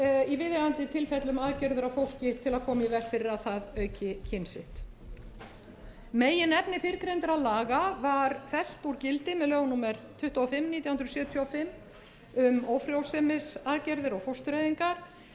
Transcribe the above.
í viðeigandi tilfellum aðgerðir á fólki til að koma í veg fyrir að það auki kyn sitt meginefni fyrrgreindra laga var fellt úr gildi með lögum númer tuttugu og fimm nítján hundruð sjötíu og fimm um fóstureyðingar og ófrjósemisaðgerðir en